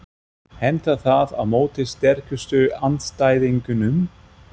Hentar það á móti sterkustu andstæðingunum?